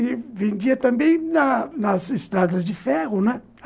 E vendia também nas nas estradas de ferro, né